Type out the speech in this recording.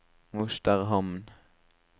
Mosterhamn